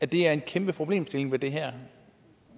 det er en kæmpe problemstilling ved det her